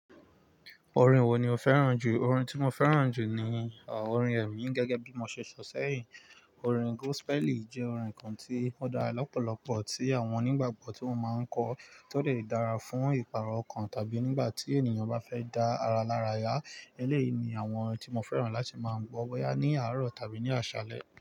Orin wo ni o fẹ́ràn jù? Orin tí mo fẹ́ràn jù ni, orin ẹ̀mí gẹ́gẹ́ bí mo ṣe sọ sẹ́yìn. Orin gospel jẹ́ orin kan tí ó dára lọ́pọ̀lọpọ̀ tí àwọn onígbàgbọ́ tí wọ́n máa ń kọ, tó dẹ̀ dára fún ìpàrọ̀ ọkàn tàbí nígbà tí ènìyàn bá fẹ́ dá ara lára yá. Eléyìí ni àwọn tí mo fẹ́ràn láti máa ń gbọ́ bóyá ní àárọ̀ tàbí ní àṣálẹ́.